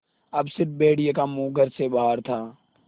अब स़िर्फ भेड़िए का मुँह घर से बाहर था